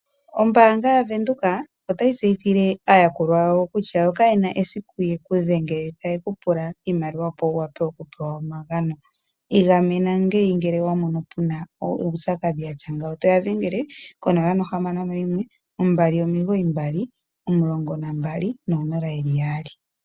Ombaanga ya Venduka otayi tseyithile aayakulwa yawo kutya yo kayena esiku yekudhengele tayekupula iimaliwa opo wuwape okupewa omagano. Igamena ngeyi ngele owamono puna uupyakadhi watya ngawo toya dhengele ko 0612991200.